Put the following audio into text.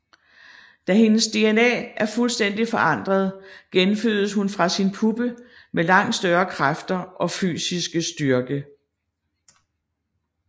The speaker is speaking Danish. Da hendes DNA er fuldstændigt forandret genfødes hun fra sin puppe med langt større kræfter og fysiske styrke